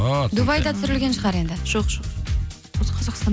дубайда түсірілген шығар енді жоқ